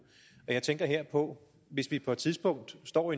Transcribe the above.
jeg tænker her på hvis vi på et tidspunkt står